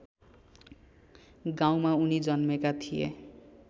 गाउँमा उनी जन्मेका थिए